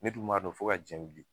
Ne dun b'a dɔn fo ka jiɲɛ wuli